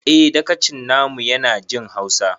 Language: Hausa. Eh dagacin na mu ya na jin hausa